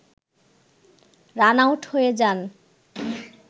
run-out হয়ে যান